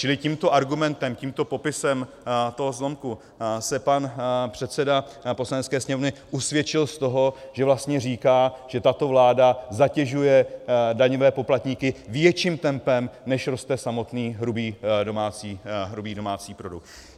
Čili tímto argumentem, tímto popisem toho zlomku se pan předseda Poslanecké sněmovny usvědčil z toho, že vlastně říká, že tato vláda zatěžuje daňové poplatníky větším tempem, než roste samotný hrubý domácí produkt.